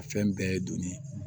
A fɛn bɛɛ ye donnin ye